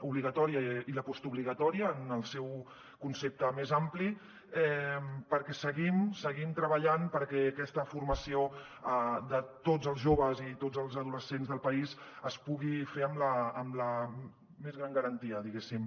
obligatòria i postobligatòria en el seu concepte més ampli perquè seguim treballant perquè aquesta formació de tots els joves i tots els adolescents del país es pugui fer amb la més gran garantia diguéssim